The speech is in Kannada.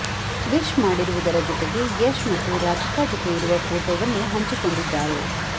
ವಿಶ್ ಮಾಡಿರುವುದರ ಜೊತೆಗೆ ಯಶ್ ಮತ್ತು ರಾಧಿಕಾ ಜೊತೆ ಇರುವ ಫೋಟೋವನ್ನು ಹಂಚಿಕೊಂಡಿದ್ದಾರೆ